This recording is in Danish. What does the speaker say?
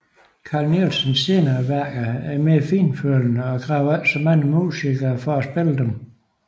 Carl Nielsens senere værker er mere fintfølende og kræver ikke så mange musikere for at spille dem